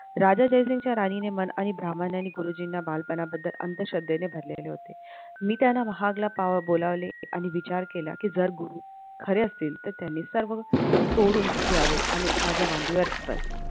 राजा जयसिंगच्या राणीने मन आणि ब्राम्हणांनी गुरुजींना बालपणाबद्दल अंधश्रद्धेने भरलेले होते. मी त्यांना बोलावले मी विचार केला जर गुरु खरे असतील तर त्यांनी सर्व सोडून यावे आणि माझ्या मांडीवर बसावे.